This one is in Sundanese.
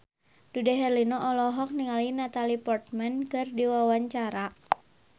Dude Herlino olohok ningali Natalie Portman keur diwawancara